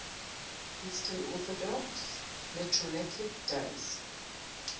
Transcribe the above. eastern orthodox liturgical days